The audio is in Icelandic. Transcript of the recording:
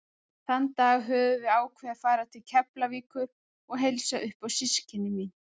Þann dag höfðum við ákveðið að fara til Keflavíkur og heilsa upp á systkini mín.